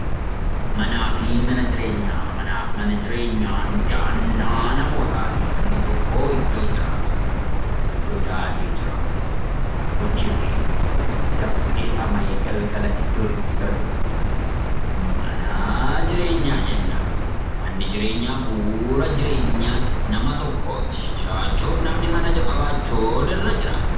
Manaa fi manni jireenyaan dahannaa nama tokkooti. Iddoo dahatee jiraatu, hojjetee, dafqee, dhama'ee, galgala iddoo itti galu mana jireenyaa jenna. Manni jireenyaa, bu'uura jireenyaa nama tokkooti. Jiraachuuf namni mana qabaachuutu irra jiraata.